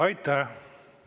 Aitäh!